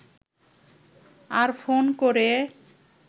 আর phone করে